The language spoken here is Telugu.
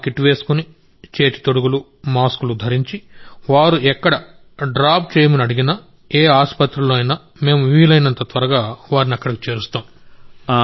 మా కిట్ వేసుకుని చేతి తొడుగులు మాస్కులు ధరించి వారు ఎక్కడ డ్రాప్ చేయమని అడిగినా ఏ ఆసుపత్రిలోనైనా మేము వీలైనంత త్వరగా వారిని అక్కడికి చేరుస్తాం